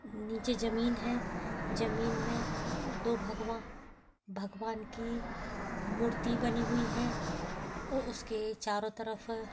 नीचे जमींन हैं। जमीन में दो भगव भगवान की मूर्ति बनी हुई हैं और इसके चारो तरफ---